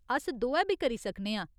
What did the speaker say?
अस दोऐ बी करी सकने आं।